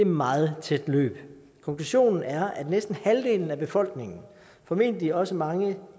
meget tæt løb konklusionen er at næsten halvdelen af befolkningen formentlig også mange